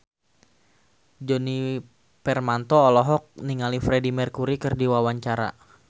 Djoni Permato olohok ningali Freedie Mercury keur diwawancara